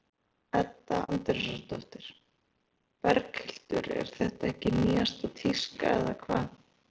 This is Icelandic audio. Edda Andrésdóttir: Berghildur er þetta ekki nýjasta tíska eða hvað?